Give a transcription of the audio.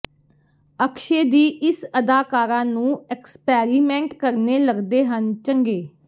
ਅਕਸ਼ੇ ਦੀ ਇਸ ਅਦਾਕਾਰਾ ਨੂੰ ਐਕਸਪੈਰੀਮੈਂਟ ਕਰਨੇ ਲੱਗਦੇ ਹਨ ਚੰਗੇ